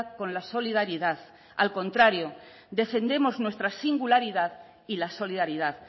con la solidaridad al contrario defendemos nuestra singularidad y la solidaridad